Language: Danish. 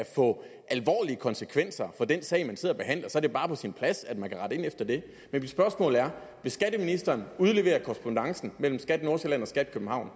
få alvorlige konsekvenser for den sag man sidder og behandler så er bare på sin plads at man kan rette ind efter det men mit spørgsmål er vil skatteministeren udlevere korrespondancen mellem skat nordsjælland og skat københavn